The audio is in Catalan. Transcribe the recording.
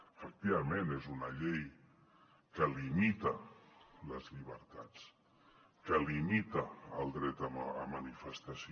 efectivament és una llei que limita les llibertats que limita el dret a manifestació